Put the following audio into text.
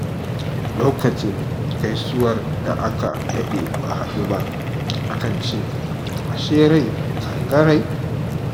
Lokacin gaisuwar da aka daɗe ba haɗu ba, a kan ce “A she rai kan ga rai?.”